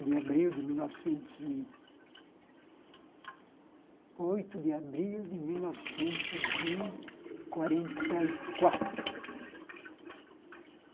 de abril de mil novecentos e... oito de abril de mil novecentos e quarenta e quatro.